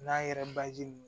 N'a yɛrɛ